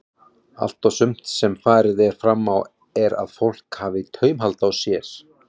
Allt og sumt sem farið er fram á er að fólk hafi taumhald á sér.